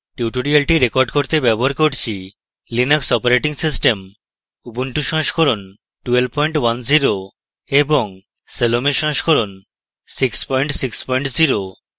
tutorial record করতে ব্যবহার করছি: লিনাক্স অপারেটিং সিস্টেম উবুন্টু সংস্করণ 1210 এবং salome সংস্করণ 660